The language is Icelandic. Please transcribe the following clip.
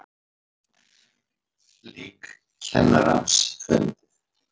Lík kennarans fundið